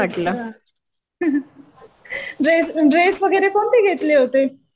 अच्छा. Dress, dress वगैरे कोणते घेतले होते?